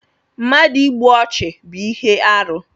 Mmadụ ịgbụ ọchu bú ihe arụ